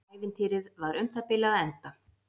Ævintýrið var um það bil að enda.